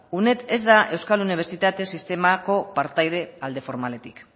uned ez da euskal unibertsitate sistemako partaide alde formaletik